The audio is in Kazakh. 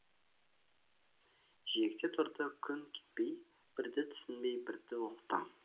жиекте тұрды күн кетпей бірді түсінбей бірді ұқтым